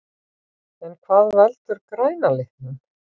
En hvað veldur græna litnum?